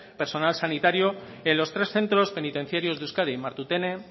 personal sanitario en los tres centros penitenciarios de euskadi martutene